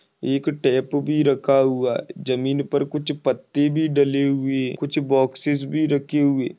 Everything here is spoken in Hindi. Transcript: एक टेप भी रखा हुआ है जमीन पर कुछ पत्ते भी डले हुए कुछ बॉक्सेस भी रखे हुए।